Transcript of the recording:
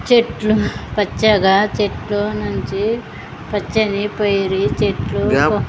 చెట్లు పచ్చగా చెట్లు నుంచి పచ్చని పైరి చెట్లు .